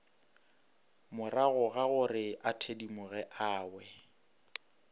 moragogagore a thedimoge a we